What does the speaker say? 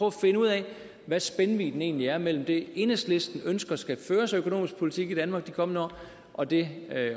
at finde ud af hvad spændvidden egentlig er mellem det enhedslisten ønsker skal føres af økonomisk politik i danmark de kommende år og det